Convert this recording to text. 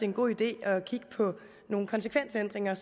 en god idé at kigge på nogle konsekvensændringer